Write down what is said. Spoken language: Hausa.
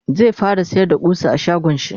zai fara sayar da ƙusa a shagonshi